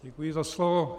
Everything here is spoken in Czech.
Děkuji za slovo.